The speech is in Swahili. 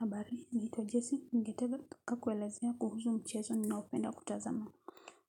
Habari naitwa Jessy. Ningetaka kueleza kuhusu mchezo ninaopenda kutazama.